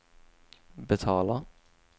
betalar